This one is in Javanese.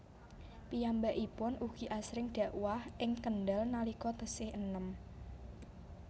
Piyambakipun ugi asring dakwah ing Kendal nalika tesih enem